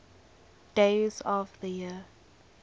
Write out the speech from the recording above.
days of the year